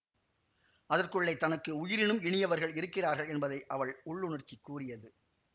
அதற்குள்ளே தனக்கு உயிரினும் இனியவர்கள் இருக்கிறார்கள் என்பதை அவள் உள்ளுணர்ச்சி கூறியது